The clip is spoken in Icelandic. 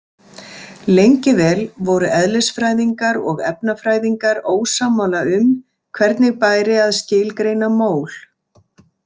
Lengi vel voru eðlisfræðingar og efnafræðingar ósammála um hvernig bæri að skilgreina mól.